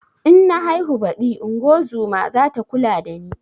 In na haihu baɗi ingozuma zata kula da ni